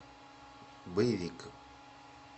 боевик